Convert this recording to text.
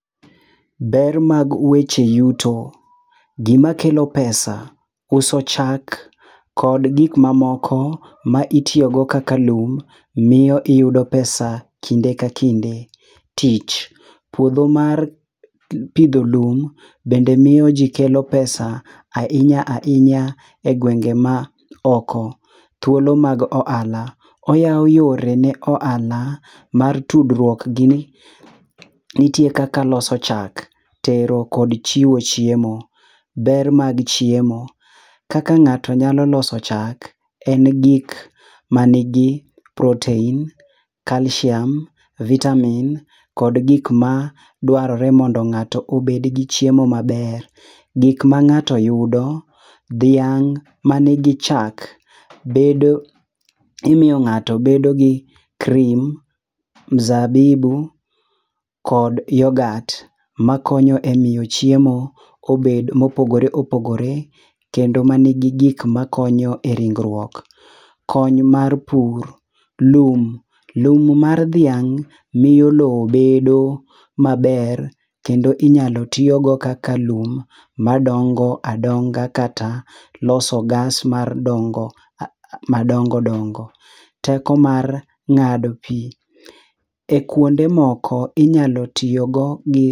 Ber mag weche yuto, gimakelo pesa, uso chak kod gik ma mamoko, ma itiyogo kaka lum miyo iyudo pesa kinde ka kinde. Tich puotho mar pitho lum bende miyo ji kelo pesa ahinya ahinya e gwenge ma oko. Thuolo mag ohala oyawo yore ne ohala mar tudruok gini, nitie kaka loso chak tero kod chiwo chiemo, ber mag chiemo, kaka nga'to nyalo loso chak en gik manigi protain, calcium, vitamin kod gik ma duarore mondo nga't obed gi chiemo maber, gik ma nga'to yudo, thiang' manigi chak bedo imiyo nga'to bedo gi cream, mzabibu kod yoghurt makonyo e miyo chiemo obed mo opogore opogore kendo ma nigi gik makonyo e ringruok. Kony mar pur lum, lum mar thiang' miyo lowo bedo maber kendo kinyalo tiyogodo kaka lum ma dongo adonga kata loso gas mar ndongo ma ndongo dongo teko mar nga'do pi e kuonde moko inyalo tiyogo gi